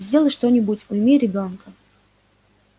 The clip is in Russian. сделай что-нибудь уйми ребёнка